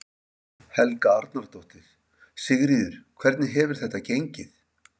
Helga Arnardóttir: Sigríður, hvernig hefur þetta gengið?